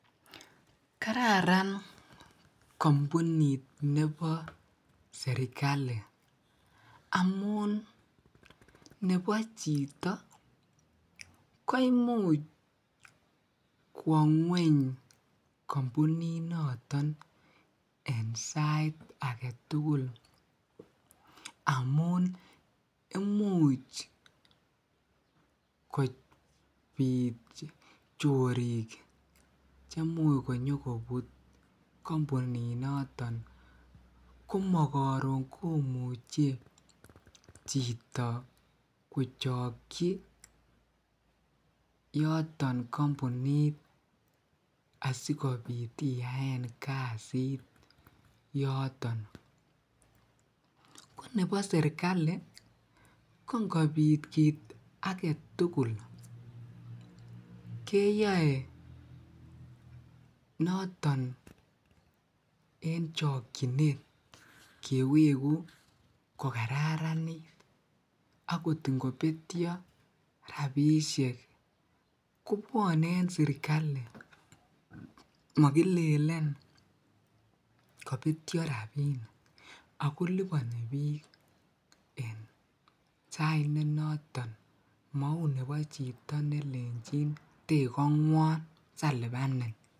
kararan kombuniit nebo serikali, amuun nebo chito koimuuch kwongweeny kombuniit noton en sait agetugul amuun imucch kobiit choriik chemuch konyogobut kombuniit noton komogoron omuche chito kochoykyii yoton kombunit asigobiit iyaeen kasiit yoton, konebo serikali ko ngobiit kiit agetugul keyoi noton en chokyineet keweguu kogararanitagoot ngobetyo rabishek kobwone en serikali mogilelen kobetyo rabik ago liboni biik en sait nenoton mouu nebo chito nelenchiin tegongwoon salibanin.